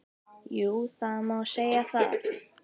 Jú, það má segja það.